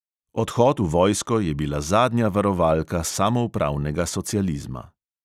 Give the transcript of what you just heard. Odhod v vojsko je bila zadnja varovalka samoupravnega socializma.